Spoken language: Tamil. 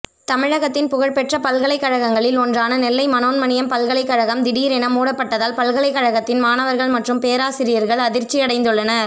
தமிழகத்தின் புகழ்பெற்ற பல்கலைக்கழகங்களில் ஒன்றான நெல்லை மனோன்மணியம் பல்கலைக்கழகம் திடீரென மூடப்பட்டதால் பல்கலைக்கழகத்தின் மாணவர்கள் மற்றும் பேராசிரியர்கள் அதிர்ச்சி அடைந்துள்ளனர்